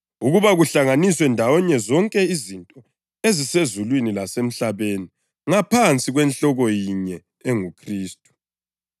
ukuba kuhlanganiswe ndawonye zonke izinto ezisezulwini lasemhlabeni ngaphansi kwenhloko yinye enguKhristu.